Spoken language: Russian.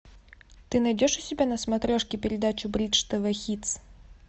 ты найдешь у себя на смотрешке передачу бридж тв хитс